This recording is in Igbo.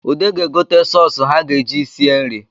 Ude ga-egote sọsụ ha ga-eji sie nri